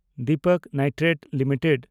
Dipak nitrate limited